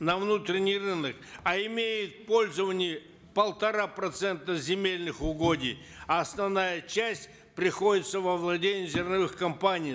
на внутренний рынок а имеют в пользовании полтора процента земельных угодий а основная часть приходится во владения зерновых компаний